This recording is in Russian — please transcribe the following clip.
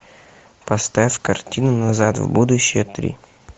поставь картину назад в будущее три